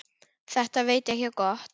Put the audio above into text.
Þetta veit ekki á gott.